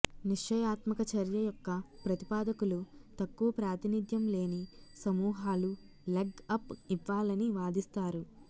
నిశ్చయాత్మక చర్య యొక్క ప్రతిపాదకులు తక్కువ ప్రాతినిధ్యం లేని సమూహాలు లెగ్ అప్ ఇవ్వాలని వాదిస్తారు